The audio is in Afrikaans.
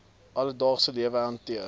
alledaagse lewe hanteer